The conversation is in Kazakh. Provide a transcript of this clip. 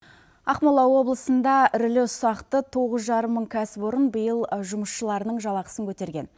ақмола облысында ірілі ұсақты тоғыз жарым мың кәсіпорын биыл жұмысшыларының жалақысын көтерген